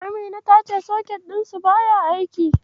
Amina ta ce soket ɗinsu baya aiki.